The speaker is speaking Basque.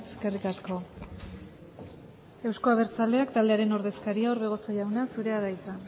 eskerrik asko euzko abertzaleak taldearen ordezkaria orbegozo jauna zurea da hitza